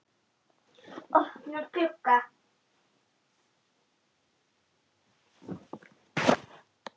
Opnar glugga.